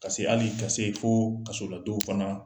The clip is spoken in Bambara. Ka hali ka se fo kasoladon fana